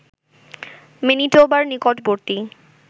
ম্যানিটোবার নিকটবর্তী